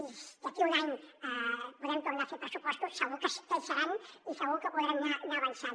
i d’aquí a un any podem tornar a fer pressupostos segur que hi seran i segur que podrem anar avançant